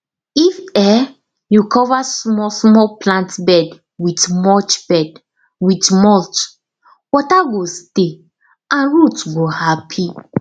if um you cover small small plant bed with mulch bed with mulch water go stay and root go happy